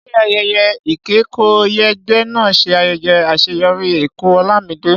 Ṣé ayẹyẹ ìkẹ́kọ̀ọ́yege náà ṣe ayẹyẹ àṣeyọrí ẹ̀kọ́ Olamide?